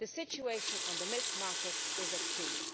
The situation on the milk market is acute.